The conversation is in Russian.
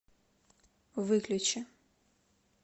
выключи